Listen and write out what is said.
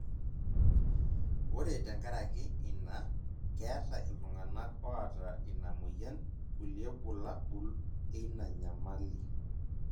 Ore tenkaraki ina ,keeta iltunganak oota ina moyian kulie bulabol eina nyamali.